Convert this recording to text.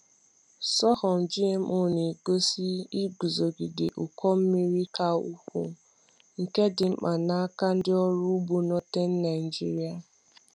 Sorghum GMO na-egosi iguzogide ụkọ mmiri ka ukwuu, nke dị mkpa n’aka ndị ọrụ ugbo Northern Naijiria.